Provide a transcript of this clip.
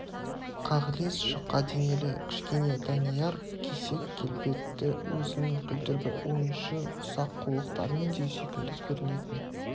қағылез жұқа денелі кішкене данияр кесек келбетті өзінің күлдіргі ойыншы ұсақ қулықтарымен де сүйкімді көрінетін